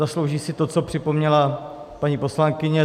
Zaslouží si to, co připomněla paní poslankyně.